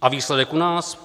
A výsledek u nás?